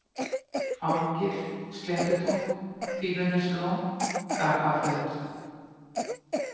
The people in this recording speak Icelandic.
Árgil, Sléttutún, Fífuneslón, Gapaflöt